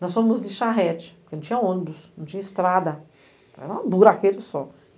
Nós fomos de charrete, porque não tinha ônibus, não tinha estrada, era um buraqueiro só.